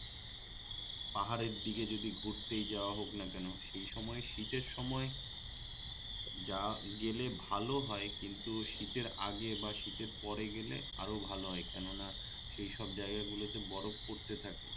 পাহাড়ের দিকে যদি ঘুরতেই যাওয়া হোক না কেন সেই সময়ে শীতের সময় যা গেলে ভাল হয় কিন্তু শীতের আগে বা শীতের পরে গেলে আরো ভাল হয় কেননা সেইসব জায়গাগুলোতে বরফ পড়তে থাকে